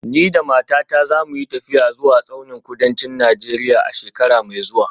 Ni da matata za mu yi tafiya zuwa tsaunin kudancin Najeriya a shekara mai zuwa